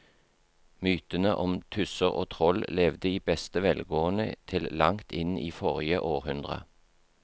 Mytene om tusser og troll levde i beste velgående til langt inn i forrige århundre.